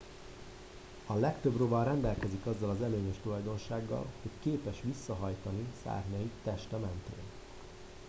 a legtöbb rovar rendelkezik azzal az előnyös tulajdonsággal hogy képes visszahajtani szárnyait teste mentén